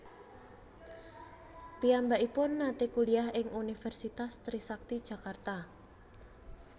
Piyambakipun nate kuliah ing Universitas Trisakti Jakarta